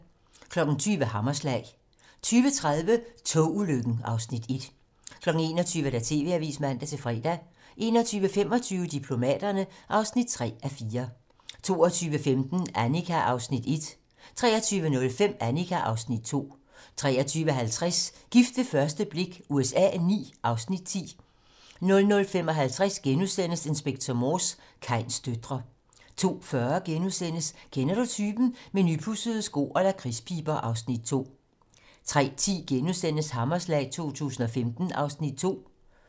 20:00: Hammerslag 20:30: Togulykken (Afs. 1) 21:00: TV-Avisen (man-fre) 21:25: Diplomaterne (3:4) 22:15: Annika (Afs. 1) 23:05: Annika (Afs. 2) 23:50: Gift ved første blik USA IX (Afs. 10) 00:55: Inspector Morse: Kains døtre * 02:40: Kender du typen? - Med nypudsede sko og lakridspiber (Afs. 2)* 03:10: Hammerslag 2015 (Afs. 2)*